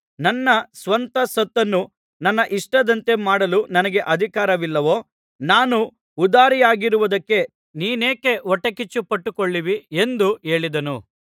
ನನ್ನ ಸ್ವಂತ ಸೊತ್ತನ್ನು ನನ್ನ ಇಷ್ಟದಂತೆ ಮಾಡಲು ನನಗೆ ಅಧಿಕಾರವಿಲ್ಲವೋ ನಾನು ಉದಾರಿಯಾಗಿರುವುದಕ್ಕೆ ನೀನೇಕೆ ಹೊಟ್ಟೆಕಿಚ್ಚುಪಟ್ಟುಕೊಳ್ಳುವಿ ಎಂದು ಹೇಳಿದನು